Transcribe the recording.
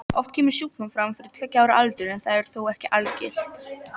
Oft kemur sjúkdómurinn fram fyrir tveggja ára aldur en það er þó ekki algilt.